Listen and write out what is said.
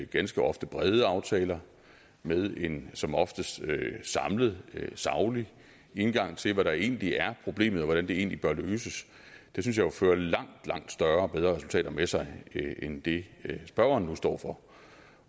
ganske ofte brede aftaler med en som oftest samlet saglig indgang til hvad der egentlig er problemet og hvordan det egentlig bør løses fører langt langt større og bedre resultater med sig end det spørgeren står for